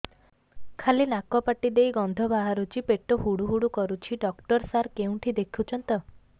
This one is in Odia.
ଖାଲି ନାକ ପାଟି ଦେଇ ଗଂଧ ବାହାରୁଛି ପେଟ ହୁଡ଼ୁ ହୁଡ଼ୁ କରୁଛି ଡକ୍ଟର ସାର କେଉଁଠି ଦେଖୁଛନ୍ତ